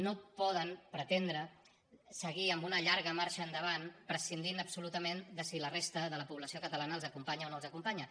no poden pretendre seguir amb una llarga marxa enda·vant prescindint absolutament de si la resta de la po·blació catalana els acompanya o no els acompanya